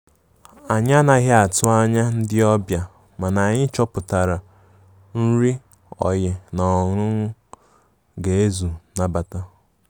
Anyi anaghi atụ anya ndi ọbia, mana anyi chọpụtara nrị oyi na ọńụńụ ga ezu nabata.